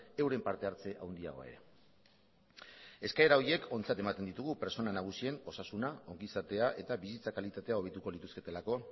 euren partehartze handiagoa ere eskaera horiek ontzat ematen ditugu pertsona nagusien osasuna ongizatea eta bizitza kalitatea hobetuko lituzketelako